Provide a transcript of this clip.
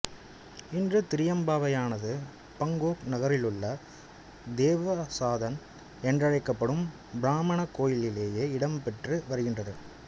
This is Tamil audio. இன்று திரியம்பாவையானது பாங்கொக் நகரிலுள்ள தேவசாதன் என்றழைக்கப்படும் பிராமணக் கோயிலிலேயே இடம்பெற்று வருகின்றது